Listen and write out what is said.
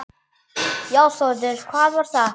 Já Þórður, hvað var það?